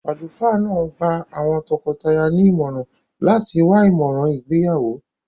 Àlùfáà náà gba àwọn tọkọtaya ní ìmọ̀ràn láti wá ìmọ̀ràn ìgbéyàwó.